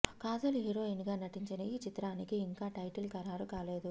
Kajal heroine గా నటించిన ఈ చిత్రానికి ఇంకా టైటిల్ ఖరారు కాలేదు